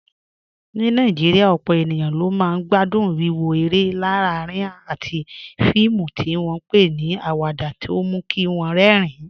Ní Nàìjíríà, ọ̀pọ̀ èèyàn ló máa ń gbádùn wíwo eré alárinrin àti fíìmù tí wọ́n ń pè ní awada tó mú kí wọ́n rẹ́rìn-ín